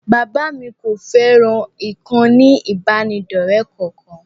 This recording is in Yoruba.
Bàbá mi kò fẹ́ràn ìkànnì ìbánidọ́ọ̀rẹ́ kankan